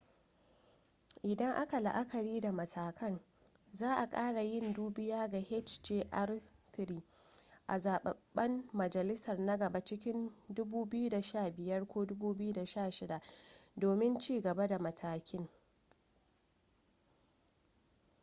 idan aka la'akari da matakan za' a kara yin dubiya ga hjr-3 a zababben majalisar na gaba cikin 2015 ko 2016 domin cigaba da matakin